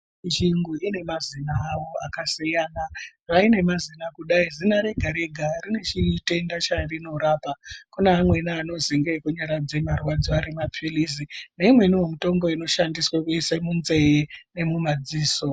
Njingo ine mazina awo akasiyana zvaine mazina kudai Zina Rega Rega rine chitenda charinorapa kune amweni anoziya ndeekunyaradze marwadzo arimaphirizi neimweniwo mitombo inoshandiswe kuiswe munzee nemumadziso.